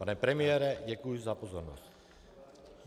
Pane premiére, děkuji za pozornost.